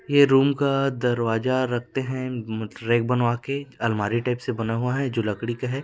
ये रूम का दरवाजा रखते है हम- म रेक बनवा के अलमारी टाइप से बना हुआ है जो लकड़ी का है।